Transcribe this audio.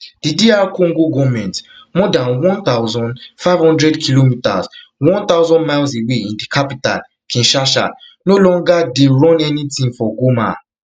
di dr congo goment more dan one thousand, five hundredkm one thousand miles away in di capital kinshasa no longer dey dey run anytin for goma